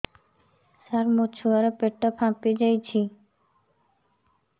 ସାର ମୋ ଛୁଆ ର ପେଟ ଫାମ୍ପି ଯାଉଛି ଝାଡା ଠିକ ସେ ହେଉନାହିଁ